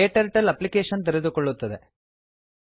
KTurtle application ತೆರೆದುಕೊಳ್ಳುತ್ತದೆ